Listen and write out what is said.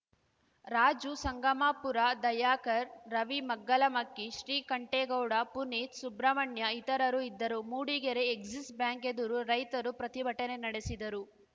ರಾಜು ಸಂಗಮಾಪುರ ದಯಾಕರ್ ರವಿ ಮಗ್ಗಲಮಕ್ಕಿ ಶ್ರೀಕಂಠೇಗೌಡ ಪುನೀತ್‌ ಸುಬ್ರಹ್ಮಣ್ಯ ಇತರರು ಇದ್ದರು Mudigere Axis Bank ಎದುರು ರೈತರು ಪ್ರತಿಭಟನೆ ನಡೆಸಿದರು